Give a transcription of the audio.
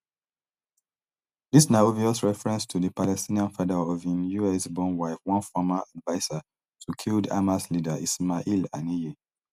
dis na obvious reference to di palestinian father of im usborn wife one former adviser to killed hamas leader ismail haniyeh